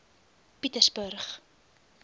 pietersburg